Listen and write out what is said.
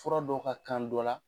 Fura dɔw ka kan dɔ la